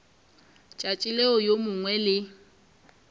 tšatši leo yo mongwe le